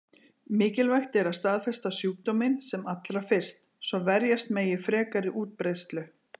Mikilvægt er að staðfesta sjúkdóminn sem allra fyrst, svo verjast megi frekari útbreiðslu.